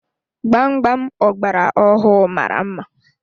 Gbam gbam ọgbara ọhụụ mara mma.